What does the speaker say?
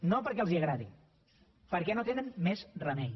no perquè els agradi perquè no tenen més remei